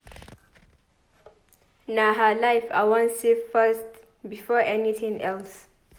Na her life I wan save first before anything else.